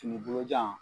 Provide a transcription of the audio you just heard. Fini bolojan